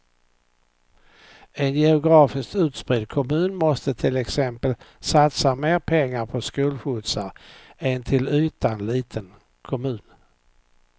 En geografiskt utspridd kommun måste till exempel satsa mer pengar på skolskjutsar än en till ytan liten kommun.